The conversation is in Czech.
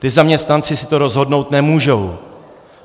Ti zaměstnanci si to rozhodnout nemůžou.